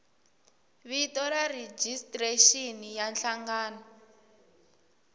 vito ra rejistrexini ya nhlangano